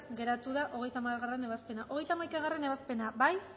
geratu da hogeita hamargarrena ebazpena hogeita hamaikagarrena ebazpena bozkatu